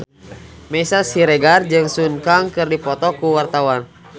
Meisya Siregar jeung Sun Kang keur dipoto ku wartawan